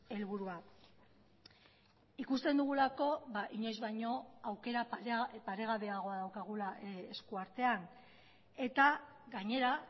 helburua ikusten dugulako inoiz baino aukera paregabeagoa daukagula eskuartean eta gainera